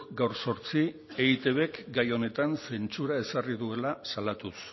gaur zortzi eitbk gai honetan zentzura ezarri duela salatuz